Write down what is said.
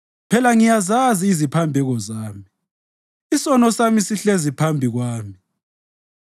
Phela ngiyazazi iziphambeko zami, isono sami sihlezi siphambi kwami.